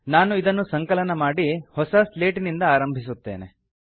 ನಾನು ಇದನ್ನು ಸಂಕಲನ ಮಾಡಿ ಹೊಸ ಸ್ಲೇಟಿನಿಂದ ಆರಂಭಿಸುತ್ತೇನೆ